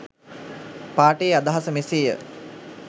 පාඨයේ අදහස මෙසේ ය.